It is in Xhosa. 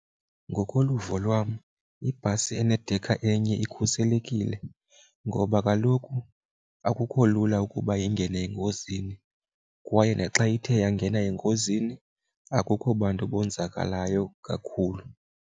Ngokoluvo lwam ibhasi enedekha enye ikhuselekile ngoba kaloku akukho lula ukuba ingene engozini kwaye naxa ithe yangena engozini akukho bantu bonzakalayo kakhulu.